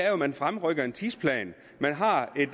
at man fremrykker en tidsplan man har et